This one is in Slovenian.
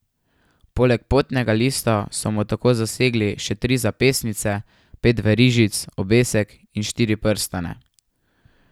Poleg potnega lista so mu tako zasegli še tri zapestnice, pet verižic, obesek in štiri prstane.